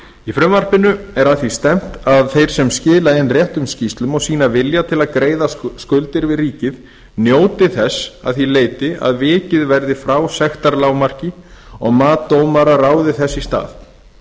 í frumvarpinu er að því stefnt að þeir sem skila inn réttum skýrslum og sýna vilja til að greiða skuldir við ríkið njóti þess að því leyti að vikið verði frá sektarlágmarki og mat dómara ráði þess í stað